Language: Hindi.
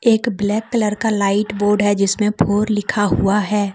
एक ब्लैक कलर का लाइट बोर्ड है जिसमें फॉर लिखा हुआ है।